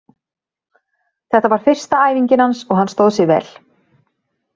Þetta var fyrsta æfingin hans og hann stóð sig vel.